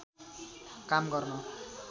काम गर्न